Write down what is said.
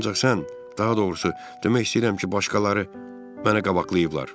Ancaq sən, daha doğrusu, demək istəyirəm ki, başqaları mənə qabaqlayıblar.